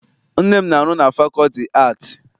Nne m na-arụ na fakọlti aatị.